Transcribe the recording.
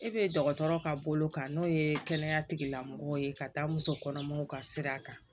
E be dɔgɔtɔrɔ ka bolo kan n'o ye kɛnɛya tigilamɔgɔw ye ka taa musokɔnɔmaw ka sira kan